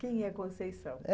Quem é Conceição?